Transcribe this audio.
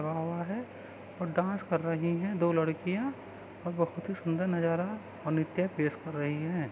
हैऔर डांस कर रही है दो लड़कियां और बहुत ही सुंदर नजारा है और नृत्य पेश कर रही है।